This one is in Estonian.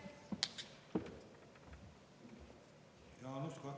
Aitäh!